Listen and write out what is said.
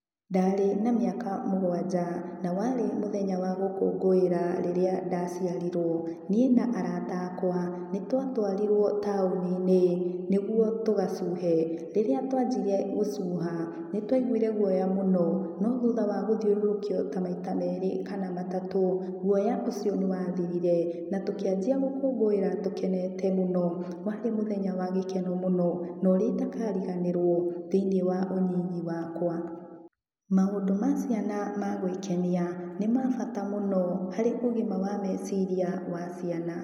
Ndarĩ na mĩaka mũgwanja na warĩ mũthenya wa gũkungũĩra rĩrĩa ndaciarirwo. Nĩ na arata akwa nĩtwatwariruo taũninĩ nĩgetha tũgacuhe. Rĩrĩa twanjirie gũcuha nĩtwaiguire guoya mũno no thutha wa gũthiũrũrũkio ta maita merĩ kana matatũ, guoya ũcio nĩ wathirire na tũkianjia gũkũngũĩra tũkenete mũno. Waarĩ mũthenya wa gĩkeno mũno na ũrĩa itakariganĩrwo thiinĩ wa ũnini wakwa. Maũndũ ma ciana ma gwikenia nĩ ma bata mũno harĩ ũgima wa meciria wa ciana.